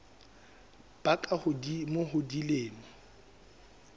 ba ka hodimo ho dilemo